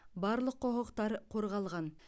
барлық құқықтар қорғалған